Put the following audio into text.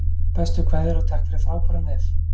Bestu kveðjur og takk fyrir frábæran vef!